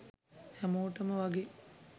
හැමෝටම වගේ